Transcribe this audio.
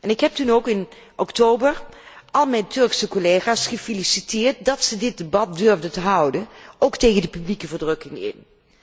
Ik heb toen in oktober al mijn Turkse collega's gefeliciteerd dat ze dit debat durfden te houden, tegen de publieke verdrukking in.